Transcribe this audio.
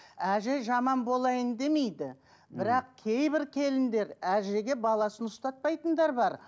әже жаман болайын демейді бірақ кейбір келіндер әжеге баласын ұстатпайтындар бар